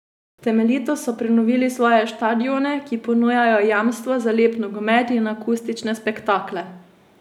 Temeljito so prenovili svoje štadione, ki ponujajo jamstvo za lep nogomet in akustične spektakle.